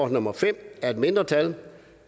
nummer fem af et mindretal